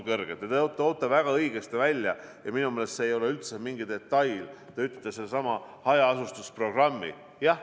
Te toote väga õigesti välja – ja minu meelest see ei ole üldse mingi detail – hajaasustuse programmi.